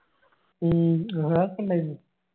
ഉം അതാ ഉണ്ടായിരുന്നു